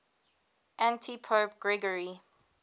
antipope gregory